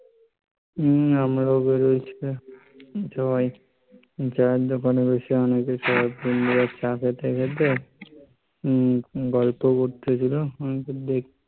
হম আমরা ও বেরিয়েছিলাম সে সময়. চায়ের দোকানে বসে বন্ধুরা চা খেতে খেতে উম গল্প করতেছিল আর দেখছিলাম